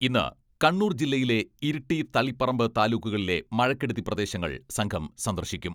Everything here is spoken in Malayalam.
ഇന്ന് കണ്ണൂർ ജില്ലയിലെ ഇരിട്ടി, തളിപ്പറമ്പ് താലൂക്കുകളിലെ മഴക്കെടുതി പ്രദേശങ്ങൾ സംഘം സന്ദർശിക്കും.